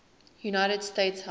united states house